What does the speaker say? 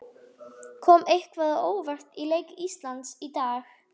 Kom eitthvað á óvart í leik Íslands í dag?